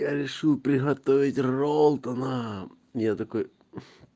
я решил приготовить ролтона я такой